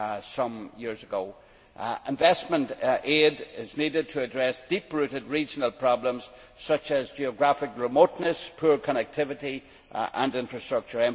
some years ago. Investment aid is needed to address deep rooted regional problems such as geographical remoteness, poor connectivity and infrastructure.